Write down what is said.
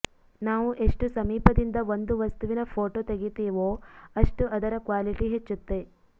ನಾವು ಎಷ್ಟು ಸಮೀಪದಿಂದ ಒಂದು ವಸ್ತುವಿನ ಫೋಟೋ ತೆಗಿತೀವೊ ಅಷ್ಟು ಅದರ ಕ್ವಾಲಿಟಿ ಹೆಚ್ಚುತ್ತೆ